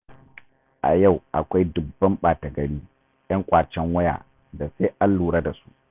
A yau akwai dubban ɓata-gari, 'yan ƙwacen waya da sai an lura da su.